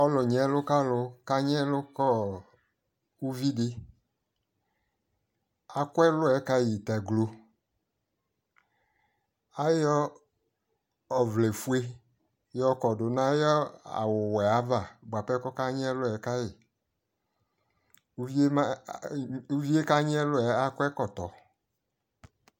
Alu nyi lu kalu kanyi ɛlu kɔɔ uvi diAku ɛluɛ ka yi ta gloAyɔ ɔvlɛ fue yɔ kɔdu nu ayʋ awu wɛ ava buapɛ kɔka nyi ɛlu ka yi Uvie kanyi ɛluɛ akɔ ɛkɔtɔ